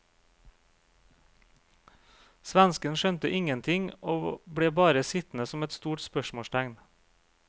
Svensken skjønte ingenting og ble bare sittende som et stort spørsmålstegn.